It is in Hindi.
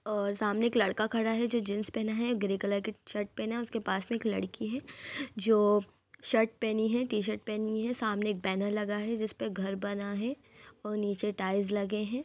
और सामने एक लड़का खड़ा हैं जो जिंस पहना है ग्रे कलर का शर्ट पहना है के उसके पास में लड़की है जो शर्ट पहनी है टी-शर्ट पहनी है सामने एक बैनर हे जिसपे घर बना है और नीचे टाइल्स लगे है।